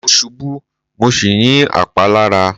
Mo ṣubú mo sì ní àpá lára.